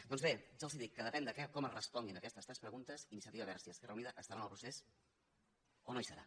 doncs bé ja els dic que depèn de com es responguin aquestes tres preguntes iniciativa verds i esquerra unida estarà en el procés o no hi serà